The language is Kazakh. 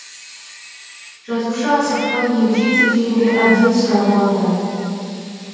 жазушы асықпай егжей тегжейлі әбден сұрап алды